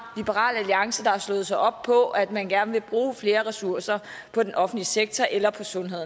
liberal alliance der har slået sig op på at man gerne vil bruge flere ressourcer på den offentlige sektor eller på sundhed